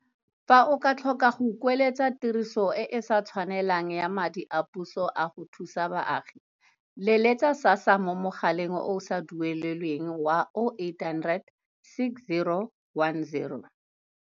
Fa o tlhoka go kueletsa tiriso e e sa tshwanelang ya madi a puso a go thusa baagi, letsetsa SASSA mo mogaleng o o sa duelelweng wa 0800 60 10 11.